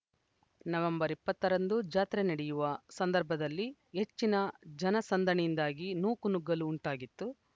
November ಇಪ್ಪತ್ತರಂದು ಜಾತ್ರೆ ನಡೆಯುವ ಸಂದರ್ಭದಲ್ಲಿ ಹೆಚ್ಚಿನ ಜನಸಂದಣಿಯಿಂದಾಗಿ ನೂಕುನುಗ್ಗಲು ಉಂಟಾಗಿತ್ತು